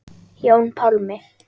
Jón Pálmi.